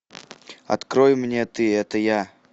открой мне ты это я